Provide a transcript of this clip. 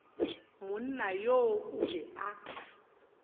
monna yoo o be a